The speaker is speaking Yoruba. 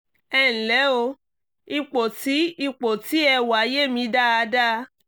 ẹ ǹlẹ́ o! ipò tí ipò tí ẹ wà yé mi dáadáa